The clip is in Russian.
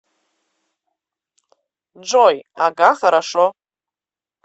джой ага хорошо